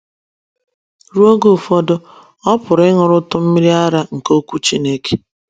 Ruo oge ụfọdụ, ọ pụrụ ịṅụrụtụ “ mmiri ara ” nke Okwu Chineke.